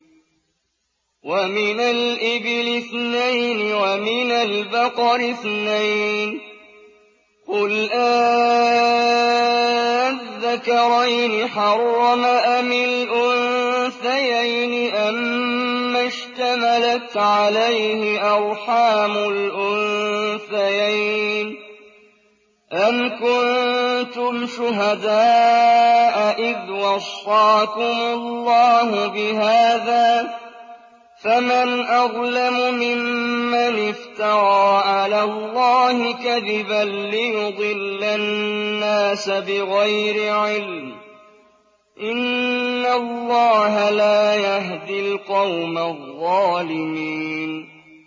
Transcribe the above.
وَمِنَ الْإِبِلِ اثْنَيْنِ وَمِنَ الْبَقَرِ اثْنَيْنِ ۗ قُلْ آلذَّكَرَيْنِ حَرَّمَ أَمِ الْأُنثَيَيْنِ أَمَّا اشْتَمَلَتْ عَلَيْهِ أَرْحَامُ الْأُنثَيَيْنِ ۖ أَمْ كُنتُمْ شُهَدَاءَ إِذْ وَصَّاكُمُ اللَّهُ بِهَٰذَا ۚ فَمَنْ أَظْلَمُ مِمَّنِ افْتَرَىٰ عَلَى اللَّهِ كَذِبًا لِّيُضِلَّ النَّاسَ بِغَيْرِ عِلْمٍ ۗ إِنَّ اللَّهَ لَا يَهْدِي الْقَوْمَ الظَّالِمِينَ